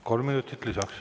Kolm minutit lisaks.